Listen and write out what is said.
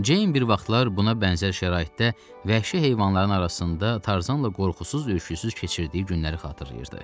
Ceyn bir vaxtlar buna bənzər şəraitdə vəhşi heyvanların arasında Tarzanla qorxusuz-ürküsüz keçirdiyi günləri xatırlayırdı.